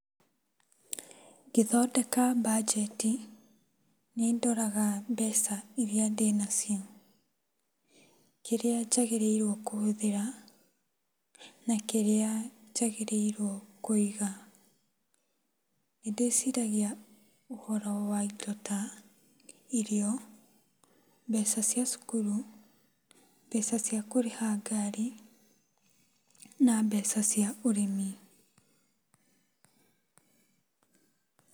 Ngĩthondeka mbanjeti nĩndoraga mbeca iria ndĩnacio, kĩrĩa njagĩrĩire kũhũthĩra, nakĩrĩa njagĩrĩirwo kũiga. Nĩndĩciragia ũhoro wa indo ta irio, mbeca cia cukuru, mbeca cia kũrĩha ngari, na mbeca cia ũrĩmi.